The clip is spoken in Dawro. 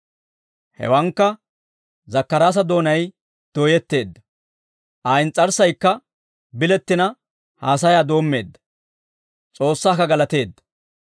Hewankka Zakkaraasa doonay dooyetteedda, Aa ins's'arssaykka bilettina haasayaa doommeedda, S'oossaakka galateedda.